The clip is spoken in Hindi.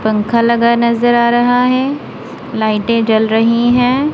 पंखा लगा नजर आ रहा है लाइटें जल रही हैं।